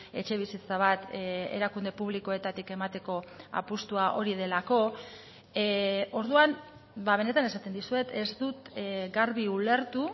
etxebizitza bat erakunde publikoetatik emateko apustua hori delako orduan benetan esaten dizuet ez dut garbi ulertu